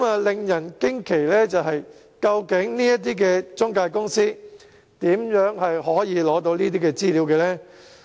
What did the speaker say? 令人驚奇的是，究竟這些中介公司如何獲取這些資料呢？